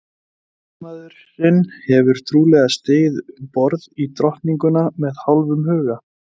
Ræðismaðurinn hefur trúlega stigið um borð í Drottninguna með hálfum huga.